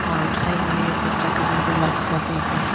और साइड मे बच्चा का अम्ब्रेला जैसा देख रहा है।